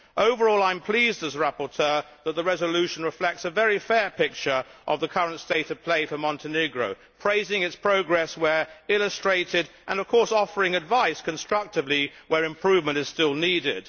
Overall, I am pleased as rapporteur that the resolution reflects a very fair picture of the current state of play for Montenegro praising its progress where illustrated, and offering advice constructively where improvement is still needed.